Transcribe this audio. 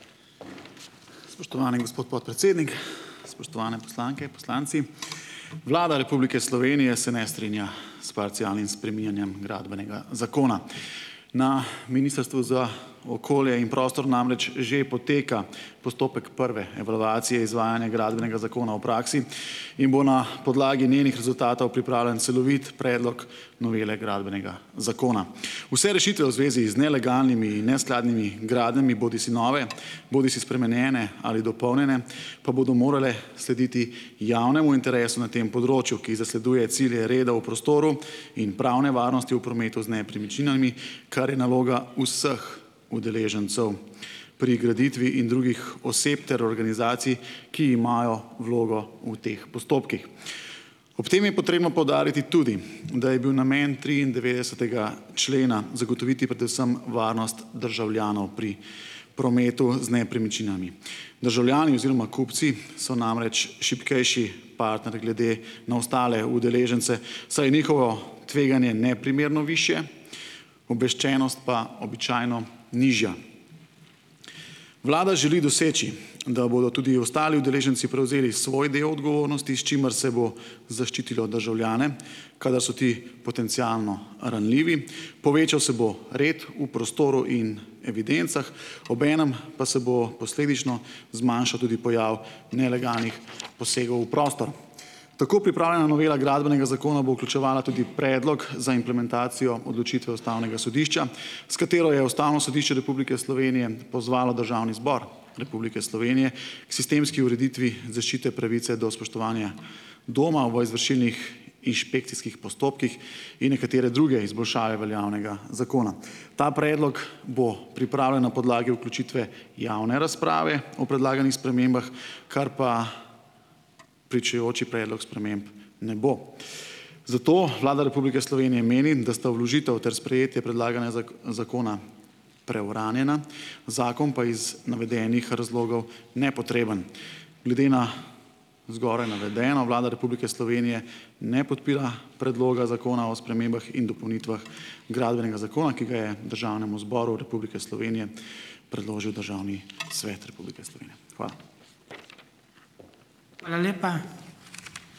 Spoštovani gospod podpredsednik, spoštovane poslanke, poslanci. Vlada Republike Slovenije se ne strinja s parcialnim spreminjanjem Gradbenega zakona. Na Ministrstvu za okolje in prostor namreč že poteka postopek prve evalvacije izvajanja Gradbenega zakona v praksi in bo na podlagi njenih rezultatov pripravljen celovit predlog novele Gradbenega zakona. Vse rešitve v zvezi z nelegalnimi in neskladnimi gradnjami, bodisi nove bodisi spremenjene ali dopolnjene, pa bodo morale slediti javnemu interesu na tem področju, ki zasleduje cilje reda v prostoru in pravne varnosti v prometu z nepremičninami, kar je naloga vseh udeležencev pri graditvi in drugih oseb ter organizacij, ki imajo vlogo v teh postopkih. Ob tem je potrebno poudariti tudi, da je bil namen triindevetdesetega člena zagotoviti predvsem varnost državljanov pri prometu z nepremičninami. Državljani oziroma kupci so namreč šibkejši partner glede na ostale udeležence, saj je njihovo tveganje neprimerno višje, obveščenost pa običajno nižja. Vlada želi doseči, da bodo tudi ostali udeleženci prevzeli svoj del odgovornosti, s čimer se bo zaščitilo državljane, kadar so ti potencialno ranljivi, povečal se bo red v prostoru in evidencah, ob enem pa se bo posledično zmanjšal tudi pojav nelegalnih posegov v prostor. Tako pripravljena novela gradbenega zakona bo vključevala tudi predlog za implementacijo odločitve ustavnega sodišča, s katero je Ustavno sodišče Republike Slovenije pozvalo Državni zbor Republike Slovenije k sistemski ureditvi zaščite pravice do spoštovanja doma v izvršilnih inšpekcijskih postopkih in nekatere druge izboljšave veljavnega zakona. Ta predlog bo priprave na podlagi vključitve javne razprave o predlaganih spremembah, kar pa pričujoči predlog sprememb ne bo. Zato Vlada Republike Slovenije meni, da sta vložitev ter sprejetje zakona preuranjena, zakon pa iz navedenih razlogov nepotreben. Glede na zgoraj navedeno Vlada Republike Slovenije ne podpira predloga Zakona o spremembah in dopolnitvah Gradbenega zakona, ki ga je Državnemu zboru Republike Slovenije predložil Državni svet Republike Slovenije. Hvala.